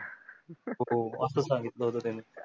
हो असं सांगितलं होता त्याने